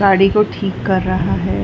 गाड़ी को ठीक कर रहा है।